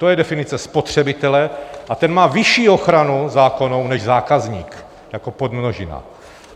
To je definice spotřebitele a ten má vyšší ochranu zákonnou než zákazník jako podmnožina.